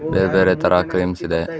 ಬೇರ್ ಬೇರೆ ತರ ಕ್ರೀಮ್ಸ್ ಇದೆ.